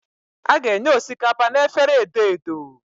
A ga-enye osikapa na efere edo edo.